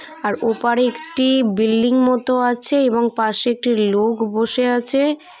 আর ওপাড়ে একটি বিল্ডিং মতো আছে এবং পাশে একটি লোক বসে আছে।